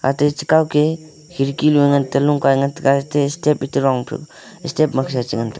tate chekaw ke khirkinu ngan teilu kai ngante kae te step e tedong piu step makhe chengan tiu.